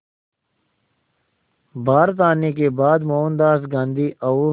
भारत आने के बाद मोहनदास गांधी और